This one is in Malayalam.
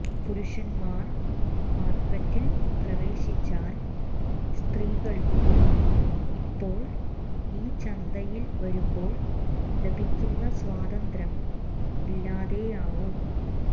പുരുഷന്മാർ മാർക്കറ്റിൽ പ്രവേശിച്ചാൽ സ്ത്രീകൾക്ക് ഇപ്പോൾ ഈ ചന്തയിൽ വരുമ്പോൾ ലഭിക്കുന്ന സ്വാതന്ത്ര്യം ഇല്ലാതെയാവും